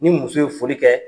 Ni muso ye foli kɛ